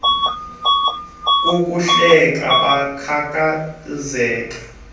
begigitheka kukuhleka yakhathazeka